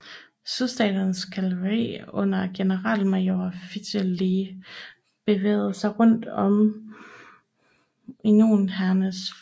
Sydstaternes kavaleri under generalmajor Fitzhugh Lee bevægede sig rundt om unionshærens flanke